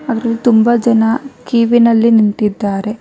ಅದರಲ್ಲಿ ತುಂಬಾ ಜನ ಕ್ಯೂ ವಿನಲ್ಲಿ ನಿಂತಿದ್ದಾರೆ.